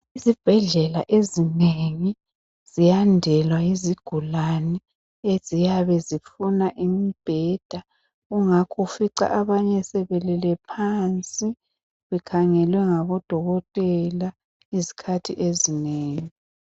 Izibhedlela ezinengi ziyandelwa yizigulane eziyabe zifuna imibheda kungakho ufica abanye sebelele phansi bekhangelwe ngodokotela izikhathi ezinengi